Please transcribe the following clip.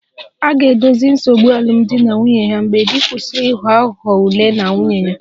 A ga-edozi nsogbu alụmdi na nwunye ha mgbe di kwụsịrị ịghọ aghụghọ ule na nwunye ya